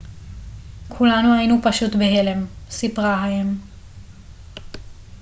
כולנו היינו פשוט בהלם סיפרה האם